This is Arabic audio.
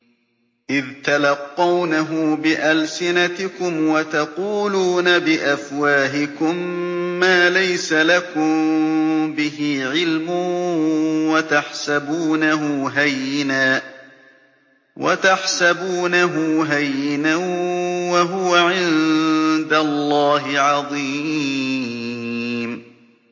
إِذْ تَلَقَّوْنَهُ بِأَلْسِنَتِكُمْ وَتَقُولُونَ بِأَفْوَاهِكُم مَّا لَيْسَ لَكُم بِهِ عِلْمٌ وَتَحْسَبُونَهُ هَيِّنًا وَهُوَ عِندَ اللَّهِ عَظِيمٌ